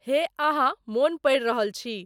हे अहाँ मोन प़र रहल छी